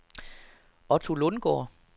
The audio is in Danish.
Otto Lundgaard